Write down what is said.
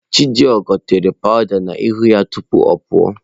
Chidigo tere powụda n'ihu tupu ọ pụọ.